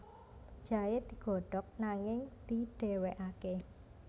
Jahe digodhog nanging didhéwékaké